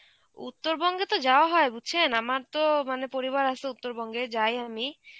উত্তরবঙ্গে তো যাওয়া হয় বুঝছেন? আমার তো মানে পরিবার আছে উত্তরবঙ্গে, যাই আমি.